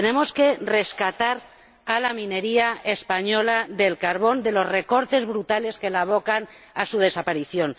Tenemos que rescatar a la minería española del carbón de los recortes brutales que la abocan a su desaparición